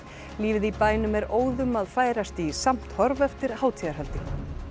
lífið í bænum er óðum að færast í samt horf eftir hátíðarhöldin